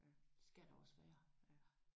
Det skal der også være